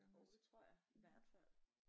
Jo det tror jeg i hvert fald